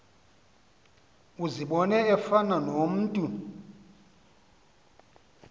uzibone efana nomntu